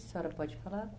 A senhora pode falar?